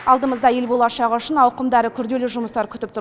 алдымызда ел болашағы үшін ауқымды әрі күрделі жұмыстар күтіп тұр